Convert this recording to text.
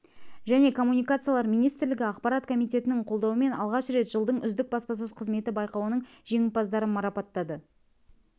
және коммуникациялар министрлігі ақпарат комитетінің қолдауымен алғаш рет жылдың үздік баспасөз қызметі байқауының жеңімпаздарын марапаттады